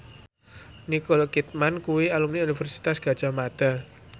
Nicole Kidman kuwi alumni Universitas Gadjah Mada